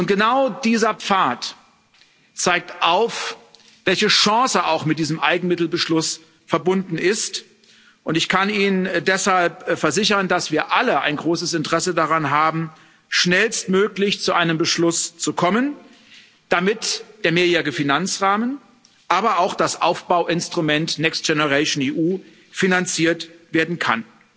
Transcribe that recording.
Genau dieser Pfad zeigt auf, welche Chance auch mit diesem Eigenmittelbeschluss verbunden ist. Ich kann Ihnen deshalb versichern, dass wir alle ein großes Interesse daran haben, schnellstmöglich zu einem Beschluss zu kommen, damit der Mehrjährige Finanzrahmen, aber auch das Aufbauinstrument Next Generation EU finanziert werden kann.